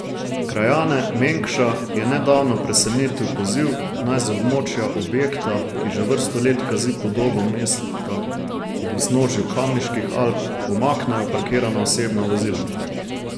Krajane Mengša je nedavno presenetil poziv, naj z območja objekta, ki že vrsto let kazi podobo mesta ob vznožju Kamniških Alp, umaknejo parkirana osebna vozila.